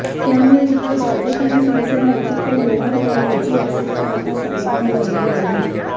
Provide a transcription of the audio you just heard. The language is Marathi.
त्यामुळे इथे भाजप आणि शिवसेना एकत्र येणार का याची उत्सुकता आता सगळ्यांना लागली आहे